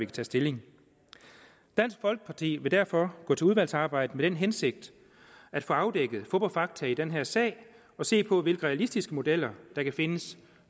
tage stilling dansk folkeparti vil derfor gå til udvalgsarbejdet med den hensigt at få afdækket fup og fakta i den her sag og se på hvilke realistiske modeller der kan findes